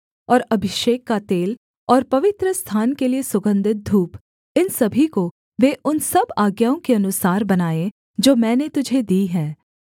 और अभिषेक का तेल और पवित्रस्थान के लिये सुगन्धित धूप इन सभी को वे उन सब आज्ञाओं के अनुसार बनाएँ जो मैंने तुझे दी हैं